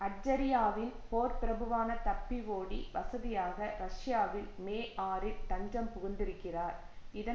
அட்ஜரியாவின் போர்பிரபுவான தப்பி ஓடி வசதியாக ரஷ்யாவில் மேஆறுல் தஞ்சம் புகுந்திருக்கிறார் இதன்